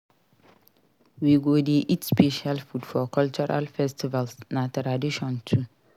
We go dey eat special food for cultural festivals na tradition too.